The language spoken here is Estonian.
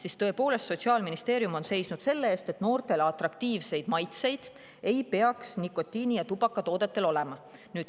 Ja tõepoolest, Sotsiaalministeerium on seisnud selle eest, et noortele atraktiivseid maitseid ei peaks nikotiini- ja tubakatoodetel olema.